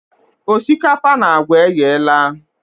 Osikapa na agwa eyela.